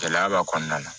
Gɛlɛya b'a kɔnɔna na